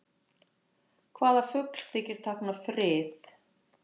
Hvaða fugl þykir tákna frið?